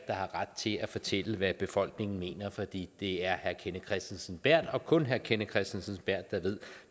har ret til at fortælle hvad befolkningen mener for det det er herre kenneth kristensen berth og kun herre kenneth kristensen berth der ved